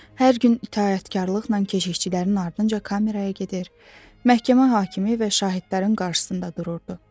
Hər gün itaətkarlıqla keşikçilərin ardınca kameraya gedir, məhkəmə hakimi və şahidlərin qarşısında dururdu.